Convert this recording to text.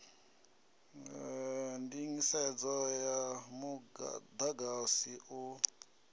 nḓisedzo ya muḓagasi u ṋekedzwaho